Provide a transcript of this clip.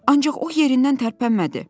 Ancaq o yerindən tərpənmədi.